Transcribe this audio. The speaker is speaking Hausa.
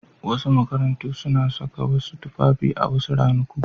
Wasu makarantu suna sanya wasu tufafi a wasu ranaku.